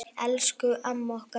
Elsku amma okkar.